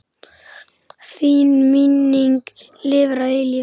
Þín minning lifir að eilífu.